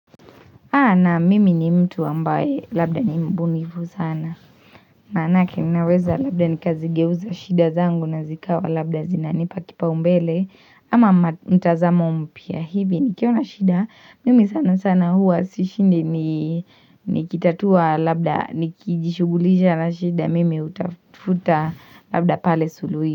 Naam mimi ni mtu ambaye labda ni mbunifu sana. Manake ninaweza labda nikazigeuza shida zangu na zikawa labda zinanipa kipaumbele. Ama mtazamo mpya hivi nikiwa na shida. Mimi sana sana huwa sishindi nikitatua labda nikijishugulisha na shida. Mimi utafuta labda pale sului.